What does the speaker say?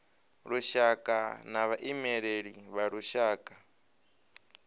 lushaka na vhaimeleli vha lushaka